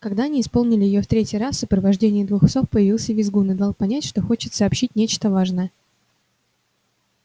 когда они исполнили её в третий раз в сопровождении двух псов появился визгун и дал понять что хочет сообщить нечто важное